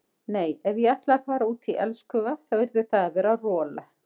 Nei ef ég ætlaði að fara út í elskhuga þá yrði það að vera rola.